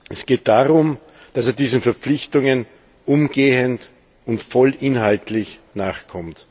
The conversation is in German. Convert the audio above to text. Es geht darum, dass er diesen Verpflichtungen umgehend und vollinhaltlich nachkommt.